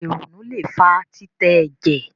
ìrònú lẹ fà titẹ ẹjẹ